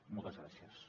moltes gràcies